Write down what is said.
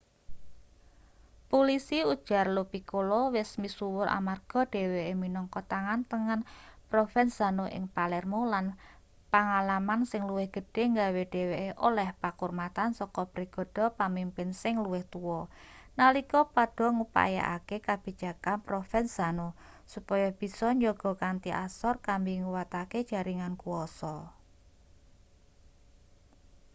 pulisi ujar lo piccolo wis misuwur amarga dheweke minangka tangan tengen provenzano ing palermo lan pangalaman sing luwih gedhe nggawe dheweke oleh pakurmatan saka bregada pamimpin sing luwih tuwa nalika padha ngupayakake kabijakan provenzano supaya bisa njaga kanthi asor kambi nguwatake jaringan kuwasa